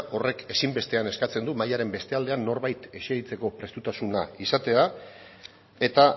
horrek ezinbestean eskatzen du mahaiaren beste aldean norbait esertzeko prestutasuna izatea eta